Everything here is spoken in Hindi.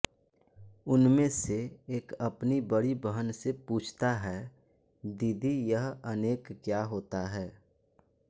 उनमें से एक अपनी बड़ी बहन से पूछता है दीदी यह अनेक क्या होता है